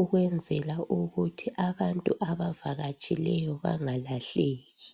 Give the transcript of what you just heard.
ukwenzela ukuthi abantu abavakatshileyo bangalahleki